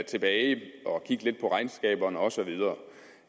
tilbage og kigge lidt på regnskaberne og så videre